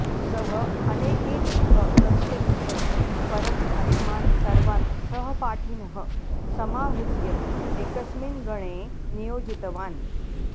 सः अनेकेभ्यः वर्षेभ्यः परं अस्मान् सर्वान् सहपाठिनः समाहृत्य एकस्मिन् गणे नियोजितवान्